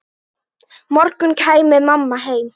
morgun kæmi mamma heim.